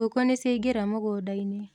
Ngũkũ nĩciaingĩra mũgũnda-inĩ